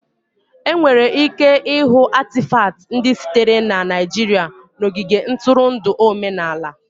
Enwere ike ịhụ Atịfatị ndị sitere na Naijiria n'ogige ntụrụndụ omenala